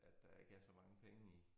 At der ikke er så mange penge i